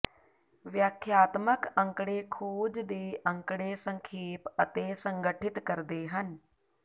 ਵਿਆਖਿਆਤਮਕ ਅੰਕੜੇ ਖੋਜ ਦੇ ਅੰਕੜੇ ਸੰਖੇਪ ਅਤੇ ਸੰਗਠਿਤ ਕਰਦੇ ਹਨ